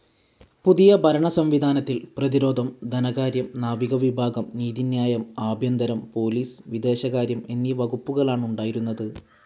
പുതിയ ഭരണസംവിധാനത്തിൽ പ്രതിരോധം, ധനകാര്യം, നാവികവിഭാഗം, നീതിന്യായം, ആഭ്യന്തരം, പോലീസ്, വിദേശകാര്യം എന്നീ വകുപ്പുകളാണുണ്ടായിരുന്നത്.